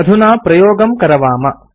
अधुना प्रयोगं करवाम